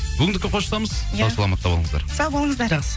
бүгіндікке қоштасамыз сау саламатта болыңыздар сау болыңыздар жақсы